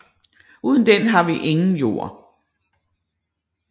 Uden den har vi ingen jord